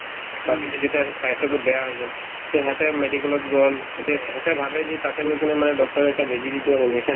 তাৰপিছত যেতিয়া সিহঁতৰ cycle তো বেয়া হৈ গ'ল to সেহেঁতে medical ত গ'ল এতিয়া এহেঁতে ভাবে যে তাতে গৈ কিনে মানে doctor য়ে এটা বেজি দিব injection